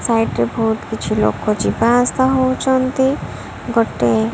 side ରେ ବହୁତ କିଛି ଲୋକ ଯିବା ଆସିବା ହଉଚନ୍ତି ଗୋଟେ --